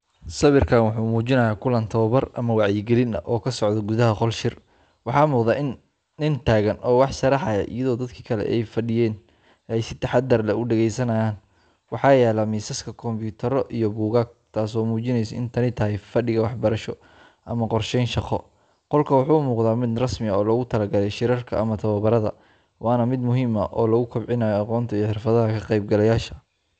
Sawirkan waxa uu muujinayaa kulan tababar ama wacyigelin ah oo ka socda gudaha qol shir. Waxaa muuqda nin taagan oo wax sharraxaya, iyadoo dadkii kale ee fadhiyey ay si taxaddar leh u dhageysanayaan. Waxaa yaalla miisaska kombiyuutarro iyo buugaag, taasoo muujinaysa in tani tahay fadhiga waxbarasho ama qorsheyn shaqo. Qolka waxa uu u muuqdaa mid rasmi ah oo loogu talagalay shirarka ama tababarada, waana mid muhiim ah oo lagu kobcinayo aqoonta iyo xirfadaha ka qaybgalayaasha.